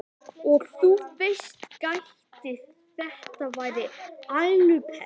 Og þú veist, gæti þetta verið ælupest?